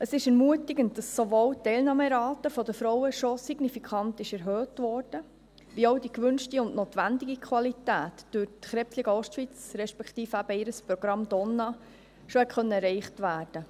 Es ist ermutigend, dass sowohl die Teilnahmerate der Frauen schon signifikant erhöht wurde, als auch die gewünschte und notwendige Qualität durch die Krebsliga Ostschweiz, respektive eben durch ihr Programm «Donna», schon erreicht werden konnte.